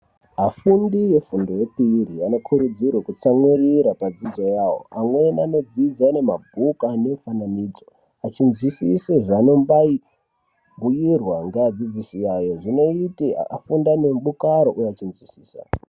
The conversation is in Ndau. Afundi efundo yepiri anokurudzirwa kutsamwirira padzidzo yavo, amweni anodzidza ane mabhuku anemifananidzo achinzwisisa zveanombai bhuyirwa ngeadzidzisi awo, zvinoita afunde anemudakaro uye achizvinzwisisa.